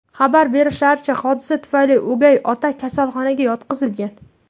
Xabar berishlaricha, hodisa tufayli o‘gay ota kasalxonaga yotqizilgan.